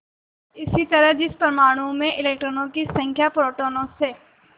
इसी तरह जिस परमाणु में इलेक्ट्रॉनों की संख्या प्रोटोनों से